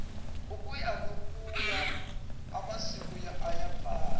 ukuya nokuya amasiko ayafa